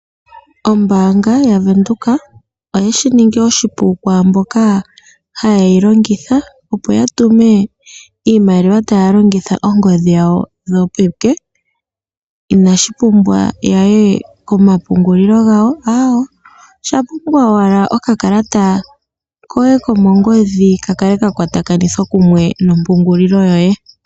Ombanga yavenduka oye shiningi oshipu kwamboka ha yeyilongitha opo yatume iimaliwa talongitha ongodhi dhawo dhopeke, inashipumbwa yaye komapungulilo gawo awo ohapumbwa owala okakalata koye kongodhi kakale ka kwatakanithwa kumwe nompungulilo yoye